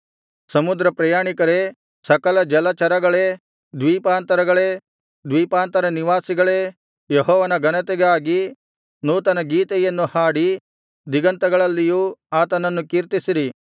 ಸಮುದ್ರಪ್ರಯಾಣಿಕರೇ ಸಕಲಜಲಚರಗಳೇ ದ್ವೀಪಾಂತರಗಳೇ ದ್ವೀಪಾಂತರವಾಸಿಗಳೇ ಯೆಹೋವನ ಘನತೆಗಾಗಿ ನೂತನ ಗೀತೆಯನ್ನು ಹಾಡಿ ದಿಗಂತಗಳಲ್ಲಿಯೂ ಆತನನ್ನು ಕೀರ್ತಿಸಿರಿ